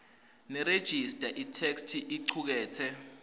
nerejista itheksthi icuketse